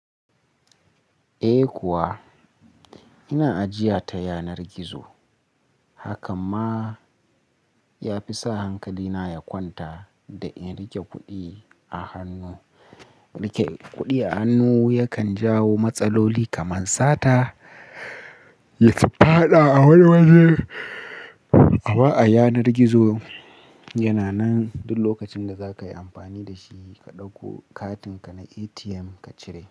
Eh kuwa ina ajiya ta yanar gizo. Hakan ma ya fi sa hankalina ya kwanta da in riƙe kuɗi a hannu. Riƙe kuɗi a hannu yana jawo matsaloli kamar sata ya faɗi a wani wuri amma a yanar gizo yana nan duk lokacin da za ka yi amfani da shi, ka ɗauki katinka na ATM ka ciro.